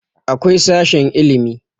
akwai sashen ilimi